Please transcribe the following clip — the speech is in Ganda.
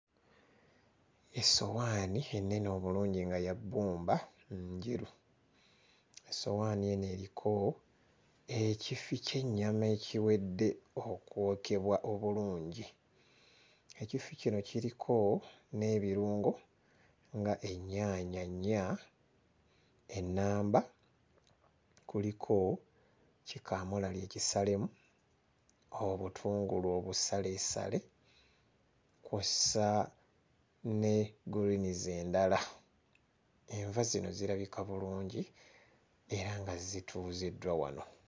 Essowaani ennene obulungi nga ya bbumba njeru; essowaani eno eriko ekifi ky'ennyama ekiwedde okwokebwa obulungi, ekifi kino kiriko n'ebirungo nga ennyaanya nnya ennamba, kuliko kikamulali ekisalemu, obutungulu obusaleesale kw'ossa ne guliinizi endala, enva zino zirabika bulungi era nga zituuziddwa wano.